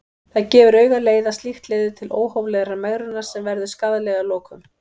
Það gefur augaleið að slíkt leiðir til óhóflegrar megrunar sem verður skaðleg að lokum.